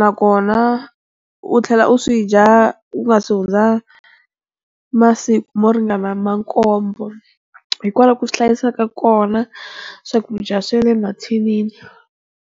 nakona u tlhela u swi dya u nga se hundza masiku mo ringana ma nkombo, hi kona ku swi hlayisa ka kona swakudya swa le mathinini.